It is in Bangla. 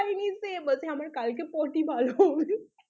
বলছে আমার কালকে পটি ভালো হবে না